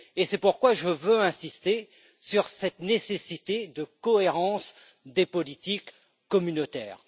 C'est pourquoi je veux insister sur cette nécessité de cohérence des politiques communautaires.